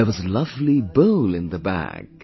There was a lovely bowl in the bag